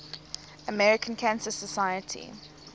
american cancer society